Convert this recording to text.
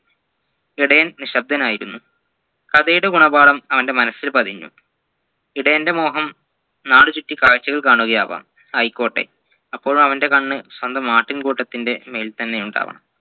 ഇടയൻ നിശ്ശബ്ദനായിരുന്നു കഥയുടെ ഗുണപാഠം അവൻെറ മനസ്സിൽ പതിഞ്ഞു ഇടയൻറെ മോഹം നാടുചുറ്റി കാഴ്ചകൾ കാണുകയാവാം ആയിക്കോട്ടെ അപ്പോഴും അവൻെറ കണ്ണ് സ്വന്തം ആട്ടിൻകൂട്ടത്തിൻെറ മേലിൽത്തന്നെ ഉണ്ടാവണം